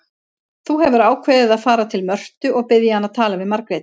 Þú hefur ákveðið að fara til Mörtu og biðja hana að tala við Margréti.